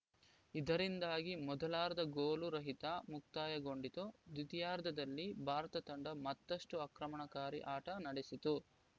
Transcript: ಇದರಿಂದಾಗಿ ಮೊದಲಾರ್ಧ ಗೋಲು ರಹಿತ ಮುಕ್ತಾಯಗೊಂಡಿತು ದ್ವಿತೀಯಾರ್ಧದಲ್ಲಿ ಭಾರತ ತಂಡ ಮತ್ತಷ್ಟುಆಕ್ರಮಣಕಾರಿ ಆಟ ನಡೆಸಿತು